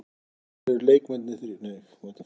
Mun kerfið í undankeppni EM breytast?